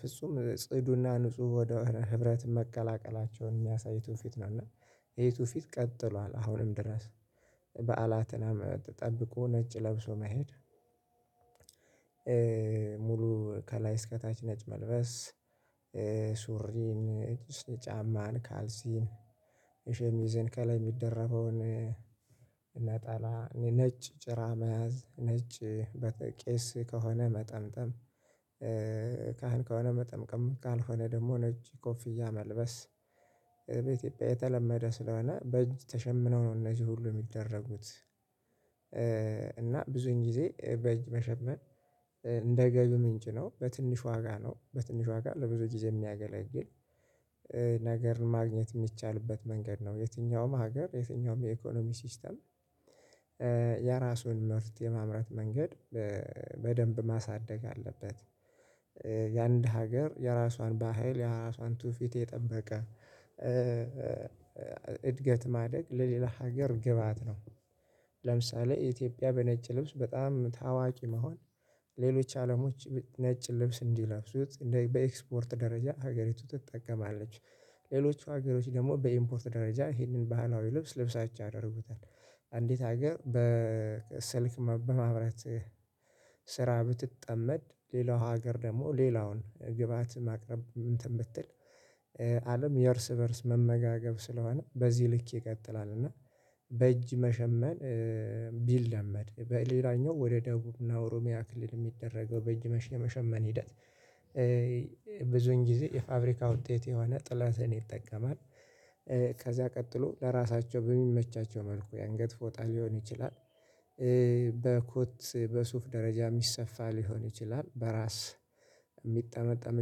ፍጹም ጽዱ እና ንጹህ ወደ ህብረት መቀላቀላቸውን የሚያሳይ ቱፊት ነው። እና ይሄ ቱፊት ቀጥሏል አሁንም ድረስ በዓላትን ጠብቆ ነጭ ለብሶ መሄድ ሙሉ ከላይ እስከታች ነጭ መልበስ ሱሪን ጫማን ካልሲን ሸሚዝን ከላይ የሚደረገውን ነጠላ ነጭ ጭራ መያዝ ነጭ በተለይ ቄስ ከሆነ መጠምጠም ካህን ከሆነ መጠምቀም ካልሆነ ደግሞ ነጭ ኮፍያ መልበስ በኢትዮጵያ የተለመደ ስለሆነ በእጅ ተሸምነው ነው እነዚህ ሁሉ የሚደረጉት። እና ብዙን ጊዜ በእጅ መሸመን እንደ ገቢ ምንጭ ነው። በትንሽ ዋጋ ነው በትንሽ ዋጋ ለብዙ ጊዜ የሚያገለግል ነገር ማግኘት የሚቻልበት መንገድ ነው። የትኛውም ሀገር የትኛውም የ'ኢኮኖሚ ሲስተም' የራሱን ምርት የማምረት መንገድ በደንብ ማሳደግ አለበት። የአንድ ሀገር የራሷን ባህል የራሷን ቱፊት የጠበቀ እድገት ማደግ ለሌላ ሀገር ግብአት ነው። ለምሳሌ ኢትዮጵያ በነጭ ልብስ በጣም ታዋቂ መሆን ሌሎች አለሞች ነጭ ልብስ እንዲለብሱ በኤክስፖርት ደረጃ ሀገሪቱ ትጠቀማለች። ሌሎቹ ሀገሮች ደግሞ በኢምፖርት ደረጃ ይህንን ባህላዊ ልብስ ልብሳቸው አደርጉታል። አንዲት ሀገር በስልክ በማምረት ስራ ብትጠመድ ሌላው ሀገር ደግሞ ሌላውን ግብአት ማቅረብ እንትን ብትል አለም የእርስ በእርስ መመጋገብ ስለሆነ በዚህ ልክ ይቀጥላል። እና በእጅ መሸመን ቢለመድ በሌላኛው ወደ ደቡብ እና ኦሮሚያ ክልል የሚደረገው በእጅ መሸመን የመሸመን ሂደት ብዙን ጊዜ የፋብሪካ ውጤት የሆነ ጥለትን ይጠቀማል። ከዚያ ቀጥሎ ለራሳቸው በሚመቻቸው መልኩ የአንገት ፎጣ ሊሆን ይችላል። በኮት በሱፍ ደረጃ የሚሰፋ ሊሆን ይችላል። በራስ የሚጠመጠም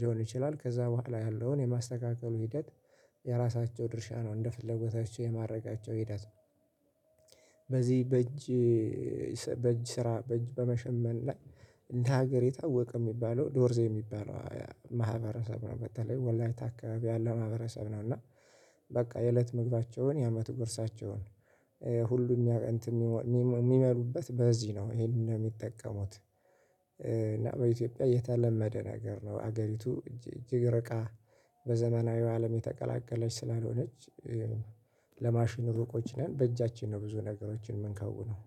ሊሆን ይችላል ከዛ በኋላ ያለውን የማስተካከሉ ሂደት የራሳቸው ድርሻ ነው እንደ ፍለጎታቸው የማረጋቸው ሂደት ነው። በእጅ በእጅ ስራ በእጅ በመሸመን ላይ እንደ ሀገር የታወቀ የሚባለው ዶርዜ የሚባለው ማህበረሰብ ነው። በተለይ ወላይት አካባቢ ያለው ማህበረሰብ ነው። እና በቃ የእለት ምግባቸውን የአመቱ ጉርሳቸውን ሁሉም ያው እንትን የሚመሩበት በዚህ ነው ይሄንን ነው የሚጠቀሙት። እና በኢትዮጵያ የተለመደ ነገር ነው ሀገሪቱ እጅግ ርቃ በዘመናዊ አለም የተቀላቀለች ስለሆነች ለማሽን ሩቆች ነን በእጃችን ነው ብዙ ነገሮችን የምንከውነው